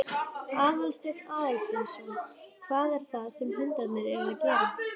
Aðalsteinn Aðalsteinsson: Hvað er það sem hundarnir eru að gera?